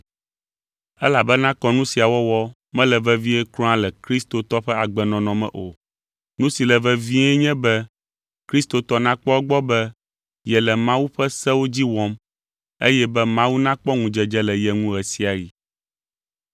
Elabena kɔnu sia wɔwɔ mele vevie kura le kristotɔ ƒe agbenɔnɔ me o. Nu si le vevie nye be kristotɔ nakpɔ egbɔ be yele Mawu ƒe sewo dzi wɔm eye be Mawu nakpɔ ŋudzedze le ye ŋu ɣe sia ɣi.